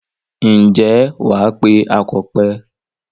Ǹjẹ́ wà á pe akọ̀pẹ.